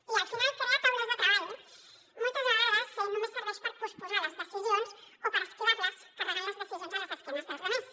i al final crear taules de treball moltes vegades només serveix per posposar les decisions o per esquivar·les carregant les decisions a les esquenes dels altres